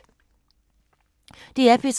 DR P3